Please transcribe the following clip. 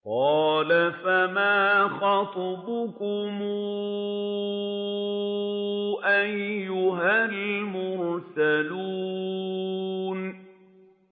قَالَ فَمَا خَطْبُكُمْ أَيُّهَا الْمُرْسَلُونَ